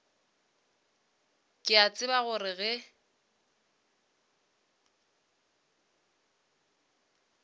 ke a tseba gore ge